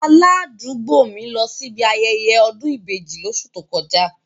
Aládùúgbò mi lọ síbi ayẹyẹ ọ̀dún ìbeji lóṣù tó kọjá.